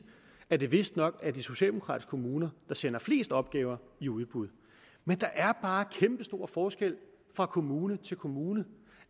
at det vistnok er de socialdemokratiske kommuner der sender flest opgaver i udbud men der er bare kæmpestor forskel fra kommune til kommune